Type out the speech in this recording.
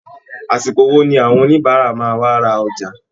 Àsìkò wo ni àwọn oníbàárà máa wá ra ọjà!